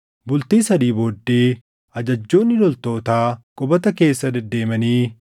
Bultii sadii booddee ajajjoonni loltootaa qubata keessa dedeemanii,